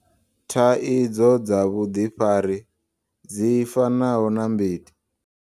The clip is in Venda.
Thaidzo dza vhuḓifari, dzi fanaho na mbiti.